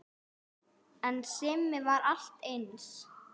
En Simmi var alltaf eins.